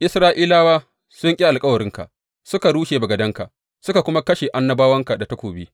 Isra’ilawa sun ƙi alkawarinka, suka rurrushe bagadanka, suka kuma kashe annabawanka da takobi.